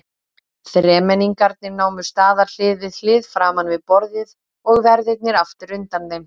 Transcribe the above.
Þremenningarnir námu staðar hlið við hlið framan við borðið og verðirnir aftur undan þeim.